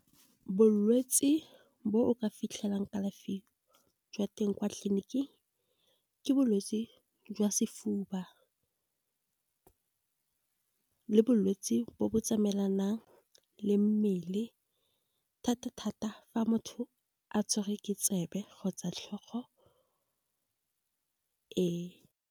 Bolwetse bo o ka fitlhelang kalafi jwa teng kwa tleliniking, ke bolwetsi jwa sefuba. Le bolwetsi bo bo tsamaelanang le mmele, thata-thata fa motho a tshwerwe ke tsebe kgotsa tlhogo ee.